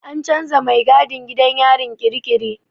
An canza mai gadin gidan yarin kirikiri.